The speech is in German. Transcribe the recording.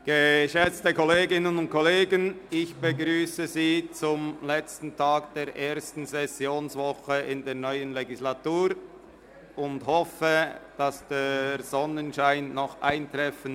Geschätzte Kolleginnen und Kollegen, ich begrüsse Sie zum letzten Tag der ersten Sessionswoche in der neuen Legislatur und hoffe, die Sonne werde heute noch scheinen.